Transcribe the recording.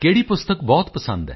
ਪੋਨ ਮਰਿਯੱਪਨ ਤਮਿਲ ਵਿੱਚ ਜਵਾਬ